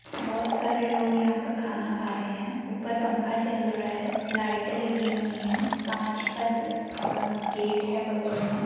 बहुत सारे लोग यहां पर खाना खा रहे है ऊपर पंखा चल रहा है लाइटें लगी हुई है कांच का गेट है बगल में